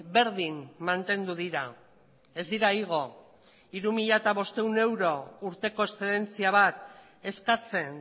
berdin mantendu dira ez dira igo hiru mila bostehun euro urteko eszedentzia bat eskatzen